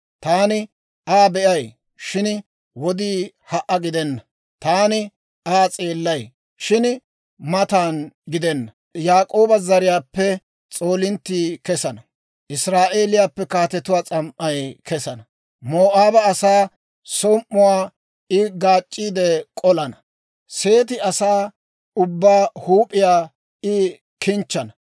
Taani Aa be'ay; shin wodii ha"a gidenna; taani Aa s'eellay; shin matan gidenna. Yaak'ooba zariyaappe s'oolinttii kesana. Israa'eeliyaappe kaatetuwaa s'am"ay kesana. Moo'aaba asaa som"uwaa I gaac'c'i k'olana. Seete asaa ubbaa huup'iyaa I kinchchana.